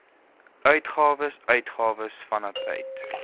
uitgawes uitgawes vanuit